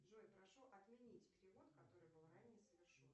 джой прошу отменить перевод который был ранее совершен